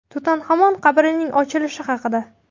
Tutanxamon qabrining ochilishi haqida.